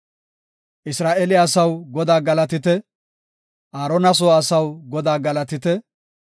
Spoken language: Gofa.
Isra7eele asaw Godaa galatite; Aarona soo asaw Godaa galatite.